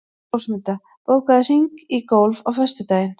Rósmunda, bókaðu hring í golf á föstudaginn.